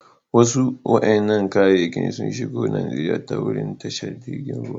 Wasu wa'inan kayakin sun shigo Nijeriya ta wurin tashar jirigin ruwa.